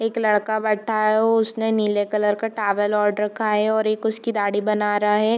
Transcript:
एक लड़का बैठा है उसने नीले कलर का टॉवल ओढ़ रखा है और एक उसकी दाढ़ी बना रहा है।